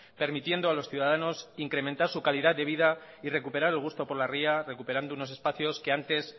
permitiendo a los ciudadanos incrementar su calidad de vida y recuperar el gusto por la ría recuperando unos espacios que antes